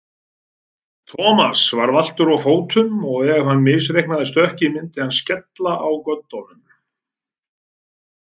Thomas var valtur á fótum og ef hann misreiknaði stökkið myndi hann skella á göddunum.